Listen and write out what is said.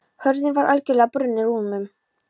Hurðin var algjörlega brunnin úr um